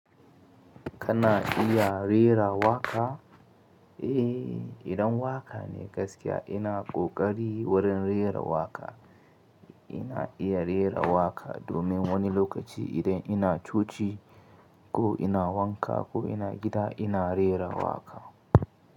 Kana iya rera waƙa? Eh, idan waƙa ne gaskiya ina ƙoƙari, wurin rera waƙa. Ina iya rera waƙa, domin wani lokaci idan ina coci, ko ina wanka ko ina gida ina rera waƙa.